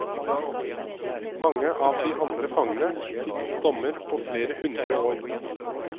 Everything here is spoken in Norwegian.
Mange av de andre fangene fikk dommer på flere hundre år.